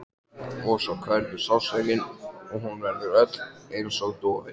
Og svo hverfur sársaukinn og hún verður öll einsog dofin.